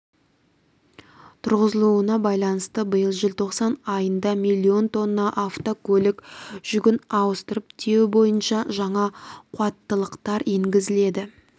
тұрғызылуына байланысты биыл желтоқсан айында миллион тонна автокөлік жүгін ауыстырып тиеу бойынша жаңа қуаттылықтар енгізіледі